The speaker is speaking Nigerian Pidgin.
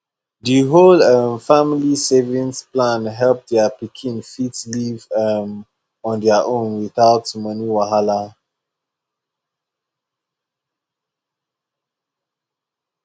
the whole um family saving plan help their pikin fit live um on their own without money wahala